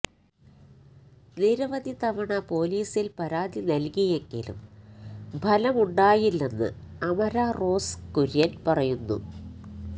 നിരവധി തവണ പോലീസില് പരാതി നല്കിയെങ്കിലും ഫലമുണ്ടായില്ലെന്ന് അമര റോസ് കുര്യന് പറയുന്നു